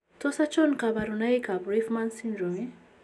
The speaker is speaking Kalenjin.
Tos achon kabarunaik ab Roifman syndrome ?